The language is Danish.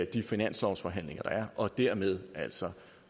de finanslovsforhandlinger der er og dermed altså